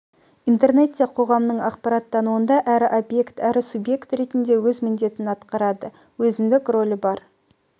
интернет те қоғамның ақпараттануында әрі объект әрі субъект ретінде өз міндетін атқарады өзіндік рөлі бар